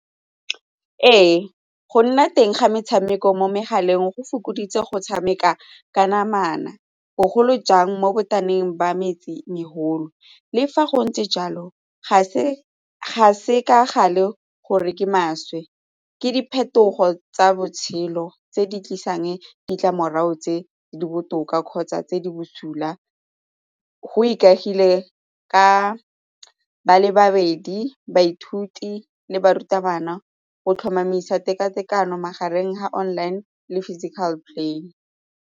Ee, go nna teng ga metshameko mo megaleng go fokoditse go tshameka ka namana bogolo jang mo . Le fa go ntse jalo, ga se ga se ka gale gore ke maswe ke diphetogo tsa botshelo tse di tlisang ditlamorago tse di botoka kgotsa tse di busula go ikaegile ka ba le babedi baithuti le barutabana go tlhomamisa teka tekano magareng ga online le physical play.